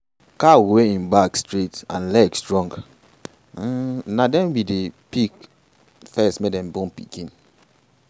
cow wey en back straight and leg strong um na dem we dey pick first make dem born pikin.